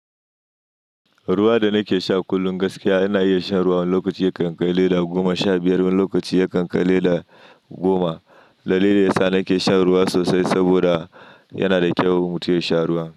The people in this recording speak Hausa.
Ruwa da nake sha kullum gaskiya ina iya shan ruwa lokaci ya kan kai leda goma sha biyar, wani lokaci ya kan kai leda goma. Dalilin daya sa nake shan ruwa sosai saboda yana da kyau mutum ya sha ruwa.